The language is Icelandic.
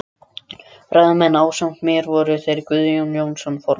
Ræðumenn ásamt mér voru þeir Guðjón Jónsson formaður